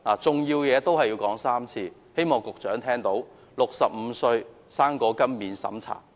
重要的事情要說3次，希望局長聽到 ："65 歲'生果金'免審查！